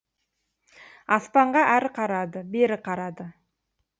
аспанға әрі қарады бері қарады